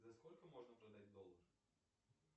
за сколько можно продать доллар